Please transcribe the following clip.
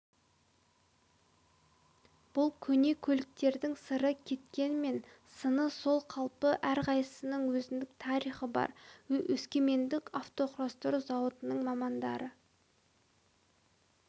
бұл көне көліктердің сыры кеткенмен сыны сол қалпы әрқайсысының өзіндік тарихы бар өскемендік автоқұрастыру зауытының мамандары